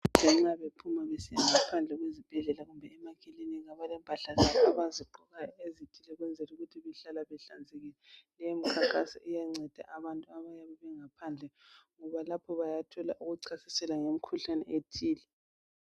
Odokotela nxa bephuma besiya ngaphandle kwezibhedlela kumbe emakilinika balempahla zabo abazigqokayo ukuze bahlale behlanzekile. Leyimikhankaso iyanceda abantu ngoba bayathola ukuchasiselwa ngemikhuhlane ethile.